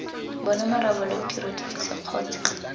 bona marobalo tiro divisa kgotsa